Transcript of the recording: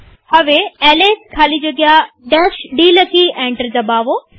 હવે એલએસ ખાલી જગ્યા d લખી એન્ટર દબાવો